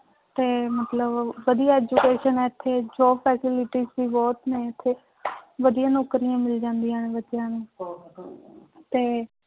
ਤੇ ਮਤਲਬ ਵਧੀਆ education ਹੈ ਇੱਥੇ job facilities ਵੀ ਬਹੁਤ ਨੇ ਇੱਥੇ ਵਧੀਆ ਨੌਕਰੀਆਂ ਮਿਲ ਜਾਂਦੀਆਂ ਨੇ ਬੱਚਿਆਂ ਨੂੰ ਤੇ